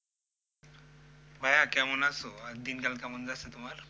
ভাইয়া কেমন আছো, আর দিনকাল কেমন যাচ্ছে তোমার?